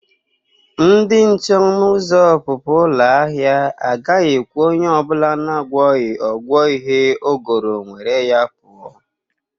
Ndị nche ọnụ ụzọ ọpụpụ ụlọ ahịa agaghị ekwe onye ọ bụla na-agwọghị ọgwọ ihe o goro nwere ya pụọ.